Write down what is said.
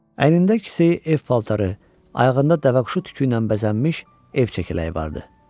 Əynində ikisi ev paltarı, ayağında dəvəquşu tükü ilə bəzənmiş ev çəkələyi vardı.